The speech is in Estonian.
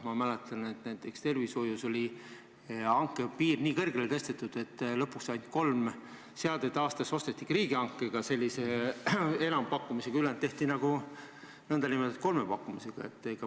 Ma mäletan, et näiteks tervishoius oli hanke piir tõstetud nii kõrgele, et lõpuks ainult kolm seadet aastas ostetigi riigihankega, enampakkumise teel, ülejäänud tehti n-ö kolmepakkumisega.